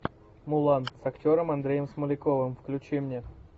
мулан с актером андреем смоляковым включи мне